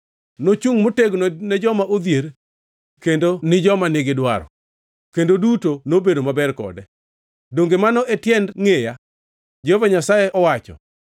Ne ochungʼ motegno ne joma odhier kendo ni gidwaro, kendo duto nobedo maber kode. Donge mano e tiend ngʼeya?” Jehova Nyasaye owacho.